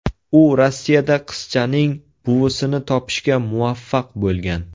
U Rossiyada qizchaning buvisini topishga muvaffaq bo‘lgan.